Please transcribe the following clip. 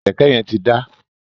Kẹkẹ yẹn ti da.